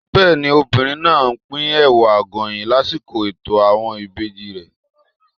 Bẹ́ẹ̀ni, obìnrin náà á pín Ẹ̀wà Àgọ̀yìn lásìkò ètò àwọn ìbejì.